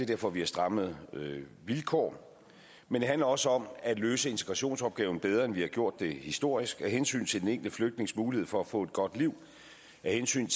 derfor vi har strammet vilkårene men det handler også om at løse integrationsopgaven bedre end vi har gjort det historisk af hensyn til den enkelte flygtnings mulighed for at få et godt liv af hensyn